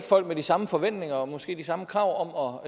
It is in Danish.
folk med de samme forventninger eller måske de samme krav